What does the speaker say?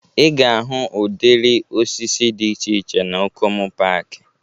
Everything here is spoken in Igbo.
Ị ga-ahụ udịri osisi dị iche iche na Okomu paaki